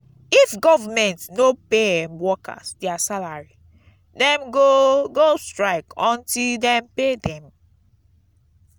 if government no pay em workers their salary dem go go strike until dem pay dem.